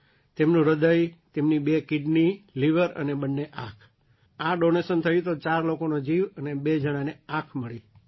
તેમનું હૃદય તેમની બે કિડની લિવર અને બંને આંખઆ ડૉનેશન થયું હતું તો ચાર લોકોનો જીવ અને બે જણાને આંખ મળી છે